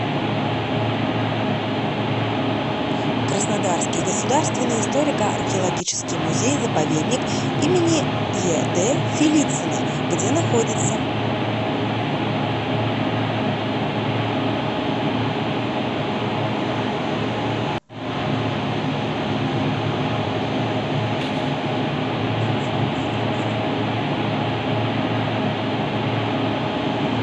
краснодарский государственный историко археологический музей заповедник им ед фелицына где находится